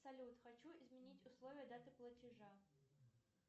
салют хочу изменить условия даты платежа